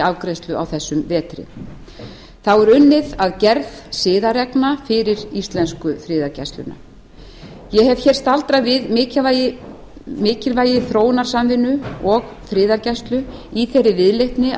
afgreiðslu á þessu þingi þá er unnið að gerð siðareglna fyrir íslensku friðargæsluna ég hef hér staldrað við mikilvægi þróunarsamvinnu og friðargæslu í þeirri viðleitni að